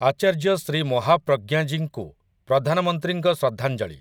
ଆଚାର୍ଯ୍ୟ ଶ୍ରୀ ମହାପ୍ରଜ୍ଞଜୀଙ୍କୁ ପ୍ରଧାନମନ୍ତ୍ରୀଙ୍କ ଶ୍ରଦ୍ଧାଞ୍ଜଳି ।